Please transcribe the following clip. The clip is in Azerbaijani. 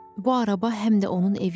Bu araba həm də onun evi idi.